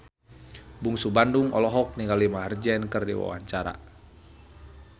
Bungsu Bandung olohok ningali Maher Zein keur diwawancara